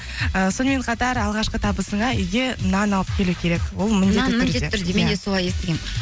ііі сонымен қатар алғашқы табысыңа үйге нан алып келу керек ол мен де солай естігенмін